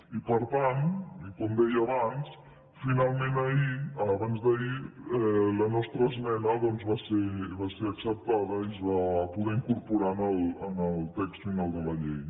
i per tant i com deia abans finalment abans d’ahir la nostra esmena va ser acceptada i es va poder incorporar en el text final de la llei